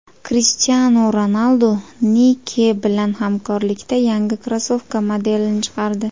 Krishtianu Ronaldu Nike bilan hamkorlikda yangi krossovka modelini chiqardi .